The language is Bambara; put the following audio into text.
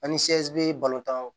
Ani be balotaw